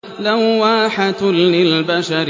لَوَّاحَةٌ لِّلْبَشَرِ